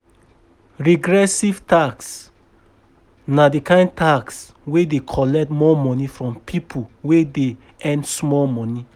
Regressive tax na di kind tax wey dey collect more money from pipo wey dey earn small money